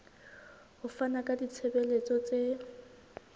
ho fana ka ditshebeletso tse